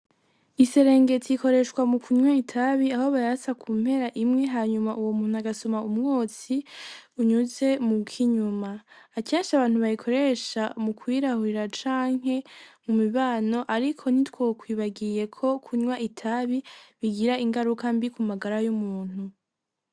Iserengeti ikoreshwa mukunywa itabi ,aho bayatsa kumpera imwe hanyuma uyo muntu agasoma umwotsi unyuze mukinyuma, akenshi abantu bayikoresha mukwirahurira canke mumibano ariko ntitwokwibagiye ko kunywa itabi bigira ingaruka mbi kumagara y'umuntu.